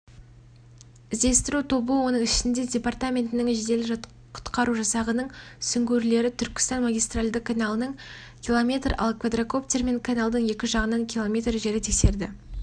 іздестіру тобы оның ішінде департаментінің жедел-құтқару жасағының сүңгуірлері түркістан магистральды каналының км ал квадрокоптермен каналдың екі жағынан км жері тексерді